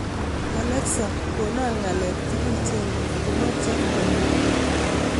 Alexa konon ng'alek tugul chengen ago po Jeff Koinange